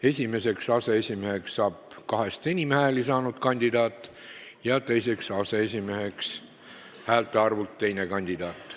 Esimeseks aseesimeheks saab kahest enim hääli saanud kandidaat ja teiseks aseesimeheks häälte arvult teine kandidaat.